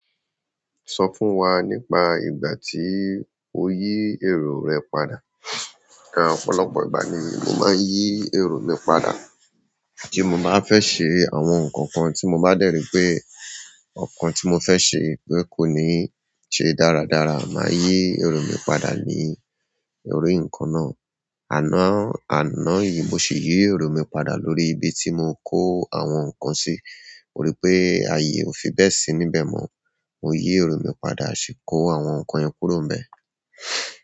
Sọ fún wa nípa ìgbà tí o yí èrò rẹ padà. Ni ọ̀pọ̀lọpọ̀ ìgbà ni mo máa ń yí èrò mi padà. Tí mo bá fẹ́ ṣe àwọn nǹkan kan tí mo bá dẹ̀rí pé ọ̀kàn tí mo fẹ́ ṣe pé kò ní ṣe dáradára, màá yí èrò mi padà ní èrò ìkanna. Àná, àná yìí mo sì yí èrò mi padà lórí ibi tí mò ń kó àwọn nǹkan sí. Mo rí i pé ààyè ò fi bẹ́ẹ̀ sí níbẹ̀ mọ́. Mo yí èrò mi padà, ṣì kó àwọn nǹkan yẹn kúrò bẹ̀.